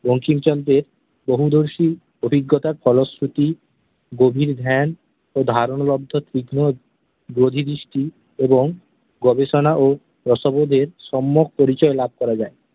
বঙ্কিমচন্দ্রের বহুদর্শী অভিজ্ঞতা, ফলশ্রুতি, গভীর ধ্যান ও ধারণ লব্ধ তীক্ষ্ণ বোধিদৃষ্টি এবং গবেষণা ও রসবোধের সম্যক পরিচয় লাভ করা যায়।